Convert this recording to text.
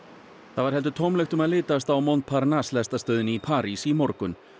það var heldur tómlegt um að litast á Montparnasse lestarstöðinni í París í morgun